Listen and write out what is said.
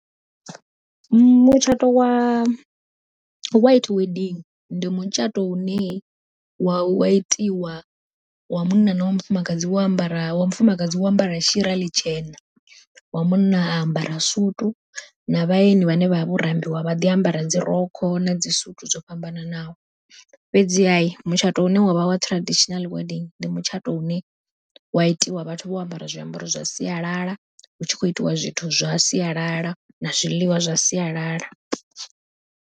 Mutshato wa white wedding ndi mutshato une wa itiwa, wa munna na wa mufumakadzi wo ambara wa mufumakadzi wo ambara shira ḽitshena, wa munna a ambara sutu na vhaeni vhane vha vha vho rambiwa vha ḓi ambara dzi rokho na dzi sutu dzo fhambananaho. Fhedziha mutshato une wavha wa traditional wedding ndi mutshato une wa itiwa vhathu vho ambara zwiambaro zwa sialala hu tshi khou itiwa zwithu zwa sialala na zwiḽiwa zwa sialala.